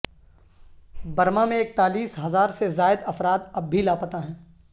Burma میں اکتالیس ہزار سے زائد افراد اب بھی لاپتہ ہیں